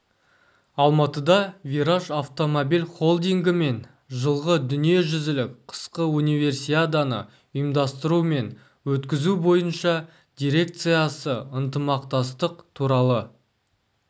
алматыда вираж автомобиль холдингі мен жылғы дүниежүзілік қысқы универсиаданы ұйымдастыру мен өткізу бойынша дирекциясы ынтымақтастық туралы